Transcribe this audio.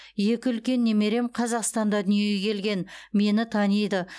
екі үлкен немерем қазақстанда дүниеге келген мені таниды